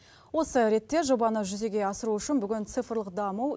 осы ретте жобаны жүзеге асыру үшін бүгін цифрлық даму